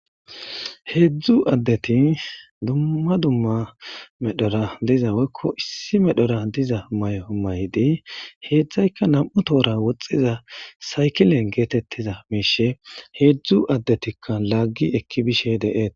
Heedzdzu addeti dumma dumma medhora diza weykko issi medhora diza may'o maydi heedzdzayka nam'u toora woxxiza saykilen geetettiza meishe heedzdzu addetikka laggi ekki bishe deeet.